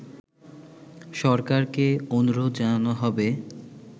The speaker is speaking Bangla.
সরকারকে অনুরোধ জানানো হবে